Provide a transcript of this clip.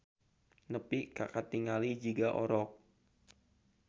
Nepi kkatingali jiga orok.